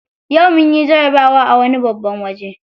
Yau munyi jarabawa a wani babban waje.